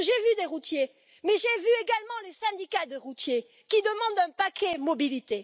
J'ai vu des routiers, mais j'ai vu également les syndicats de routiers, qui eux aussi demandent un paquet mobilité.